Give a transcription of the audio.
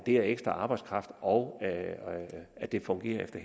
er ekstra arbejdskraft og at det fungerer efter